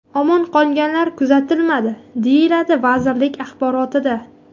Omon qolganlar kuzatilmadi”, deyiladi vazirlik axborotida.